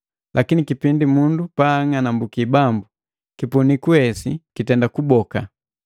Lakini kipindi mundu paang'anambuki Bambu, kipuniku se hesi kitenda kubokeka.